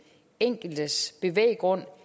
enkeltes bevæggrund